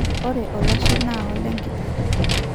ore olashe na olekiteng